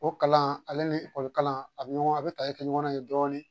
O kalan ale ni ekɔli kalan a bɛ ɲɔgɔn a bɛ tali kɛ ɲɔgɔnna yen dɔɔnin